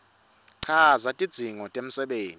chaza tidzingo temisebenti